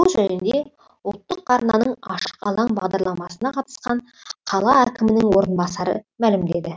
бұл жөнінде ұлттық арнаның ашық алаң бағдалрамасына қатысқан қала әкімінің орынбасары мәлімдеді